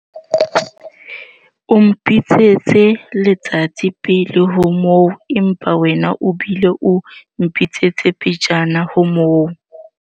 o mpitsitse letsatsi pele ho moo empa wena o bile o mpitsitse pejana ho moo